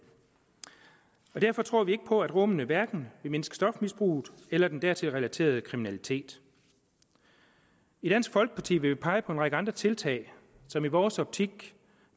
derfor tror vi ikke på at rummene vil mindske stofmisbruget eller den dertil relaterede kriminalitet i dansk folkeparti vil vi pege på en række andre tiltag som i vores optik